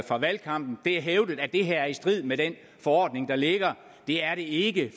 fra valgkampen det er hævdet at det her er i strid med den forordning der ligger det er det ikke i